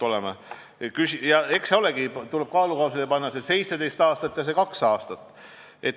Eks tuleb kaalukausile panna 17 aastat ja kaks aastat.